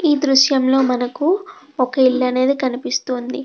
ఈ దృశ్యంలో మనకు ఒక ఇల్లు అనేది కనిపిస్తుంది.